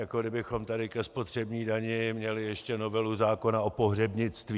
Jako kdybychom tady ke spotřební dani měli ještě novelu zákona o pohřebnictví.